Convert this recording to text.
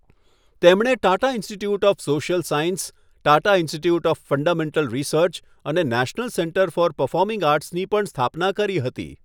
તેમણે Tata institute of social science, Tata institute of fundamental research અને national centre for performing આર્ટ્સની પણ સ્થાપના કરી હતી.